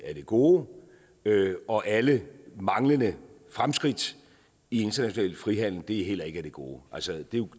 gode og alle manglende fremskridt i international frihandel er heller ikke af det gode altså det er